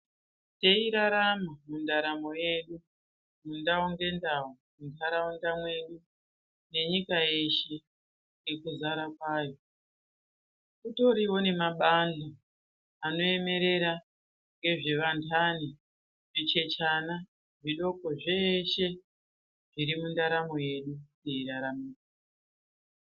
Teirarama mundaramo yedu ndau ngendau, munharaunda mwedu nenyika yeshe nekuzara kwayo, kutoriwo nemabani anoemerera nezvevandani, vachechana zvidoko zveeshe zviri mundaramo yedu teirarama.